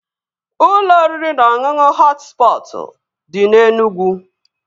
Ụlọ oriri na ọṅụṅụ Họt Spọtụ dị na Enugwu